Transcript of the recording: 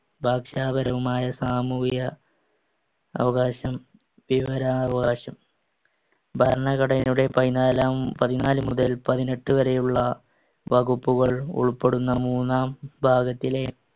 ഭക്ഷണപരവുമായ സാമൂഹിക അവകാശം, വിവരാവകാശം. ഭരണഘടനയുടെ പതിനാലാം~ പതിനാലുമുതൽ പതിനെട്ടുവരെയുള്ള വകുപ്പുകൾ ഉൾപ്പെടുന്ന മൂന്നാം ഭാഗത്തിലെ